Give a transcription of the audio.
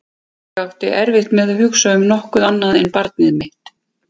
Ég átti erfitt með að hugsa um nokkuð annað en barnið mitt.